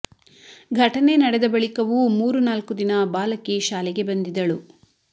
ಘಟನೆ ನಡೆದ ಬಳಿಕವೂ ಮೂರು ನಾಲ್ಕು ದಿನ ಬಾಲಕಿ ಶಾಲೆಗೆ ಬಂದಿದ್ದಳು